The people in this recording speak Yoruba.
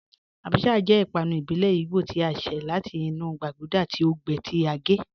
Àbàchà jẹ́ ìpànù ìbílẹ̀ Ìgbò tí a ṣẹ̀ láti inú gbàgúdà tí o gbẹ́, tí a gẹ́